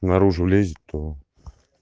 наружу лезет то